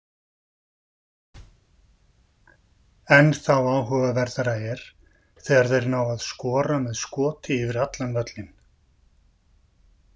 Ennþá áhugaverðara er þegar þeir ná að skora með skoti yfir allan völlinn.